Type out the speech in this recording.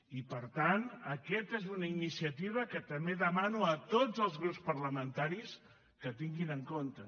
i per tant aquesta és una iniciativa que també demano a tots els grups parlamentaris que tinguin en compte